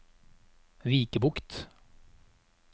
Vikebukt